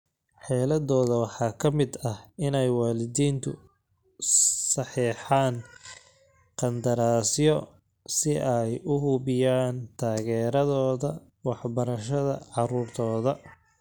Xeeladooda waxaa ka mid ah inay waalidiintu saxeexaan qandaraasyo si ay u hubiyaan taageeradooda waxbarashada carruurtooda.